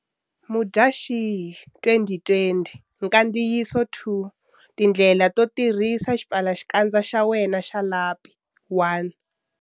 Mudyaxihi 2020 Nkandziyiso 2 Tindlela to tirhisa xipfalaxikandza xa wena xa lapi 1.